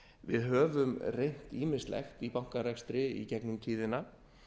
við höfum reynt ýmislegt í bankarekstri í gegnum tíðina